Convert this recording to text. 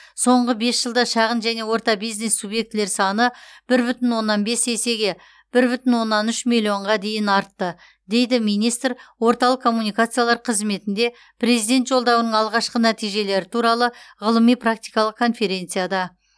соңғы бес жылда шағын және орта бизнес субъектілер саны бір бүтін оннан бес есеге бір бүтін оннан үш миллионға дейін артты дейді министр орталық коммуникациялар қызметінде президент жолдауының алғашқы нәтижелері туралы ғылыми практикалық конференцияда